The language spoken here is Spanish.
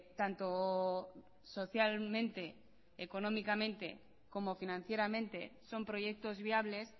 tanto socialmente económicamente como financieramente son proyectos viables